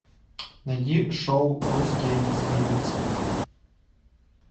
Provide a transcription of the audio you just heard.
найди шоу русские не смеются